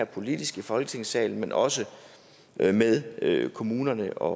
politisk i folketingssalen men også med med kommunerne og